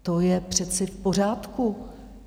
To je přece v pořádku.